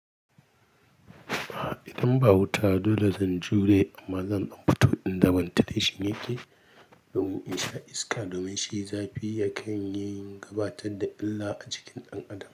A idan ba wuta dole zan jure amma zan dan fito inda ventilation yake domin in sha iska domin shi zafi ya kan yi gabatar da illa a jikin ɗan adam.